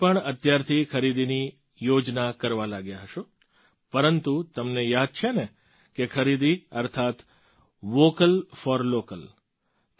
તમે બધાં પણ અત્યારથી ખરીદીની યોજના કરવા લાગ્યા હશો પરંતુ તમને યાદ છે ને કે ખરીદી અર્થાત્ વૉકલ ફૉર લૉકલ